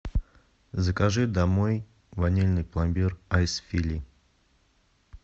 закажи домой ванильный пломбир айс фили